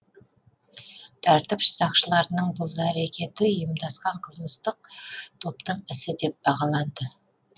тәртіп сақшыларының бұл әрекеті ұйымдасқан қылмыстық топтың ісі деп бағаланды